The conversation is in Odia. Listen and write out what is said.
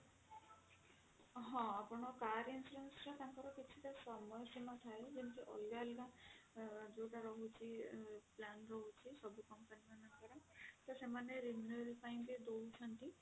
ହଁ ଆପଣ car insurance ର ତାଙ୍କର କିଛିଟା ସମୟ ସୀମା ଥାଏ ଯେମିତି ଅଲଗା ଅଲଗା ଯୋଉଟା ରହୁଛି plan ରହୁଛି ସବୁ company ମନକର ତ ସେମାନେ renew ପାଇଁ ବି ଦୋଉଛନ୍ତି